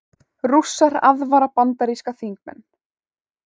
Rússar aðvara bandaríska þingmenn